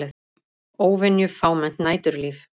Óvenju fámennt næturlíf